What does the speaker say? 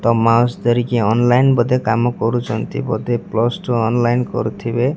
Online ବୋଧେ କାମ କରିଛନ୍ତି ବୋଧେ ପ୍ଲସ୍ ଟୁ ଅନଲାଇନ୍ କରୁଥିବେ।